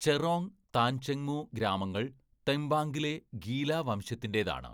ചെറോങ്, താങ്‌ചെൻമു ഗ്രാമങ്ങൾ തെംബാംഗിലെ ഗീല വംശതിന്റെയാണ്.